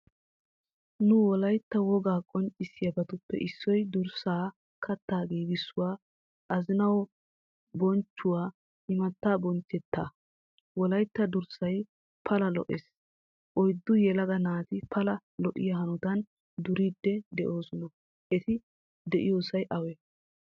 Nu wolaytta wogaa qonccissiyabatuppe issoy durssa, katta giigisuwaa, azzanawua bochchuwaa, imata bonchchetta. Wolaytta durssay pala lo"ees. Oyddu yelaga naati pala lo"iyaa hanottan duriidi deosona. Etti duriidi deiyosay awe?